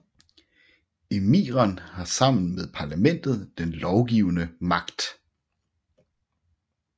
Emiren har sammen med parlamentet den lovgivende magt